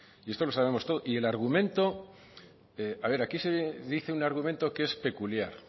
y esto lo sabemos todos y el argumento a ver aquí se dice un argumento que es peculiar